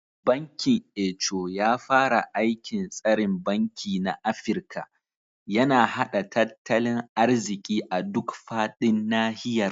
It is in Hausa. Bankin Eco, ya fara aikin tsarin banki na Afirka, yana haɗa tattalin arziƙi a duk faɗin nahiyar.